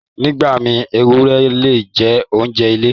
Nígbà mí, èwùré le jẹ̀ ọ̀unṣẹ ilẹ̀.